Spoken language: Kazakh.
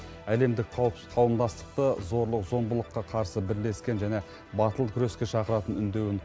әлемдік қауым қауымдастықты зорлық зомбылыққа қарсы бірлескен және батыл күреске шақыратын үндеуін